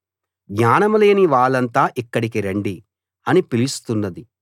జ్ఞానం లేని వాళ్ళంతా ఇక్కడికి రండి అని పిలుస్తున్నది